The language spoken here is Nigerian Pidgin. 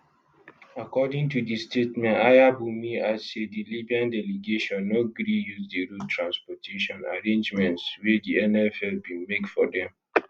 according to di statement ayanbunmi add say di libyan delegation no gree use di road transportation arrangements wey di nff bin make for dem